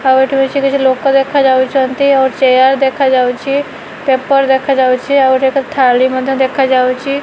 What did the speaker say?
ଆଉ ଏଠି କିଛି କିଛି ଲୋକ ଦେଖାଯାଉଛନ୍ତି। ଆଉ ଚେୟାର ଦେଖାଉଛି। ପେପର ଦେଖାଯାଉଛି। ଆଉ ଏଠି ଏକ ଥାଳି ମଧ୍ୟ ଦେଖାଯାଉଛି।